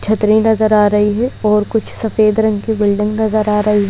छतरी नजर आ रही है और कुछ सफेद रंग की बिल्डिंग नजर आ रही--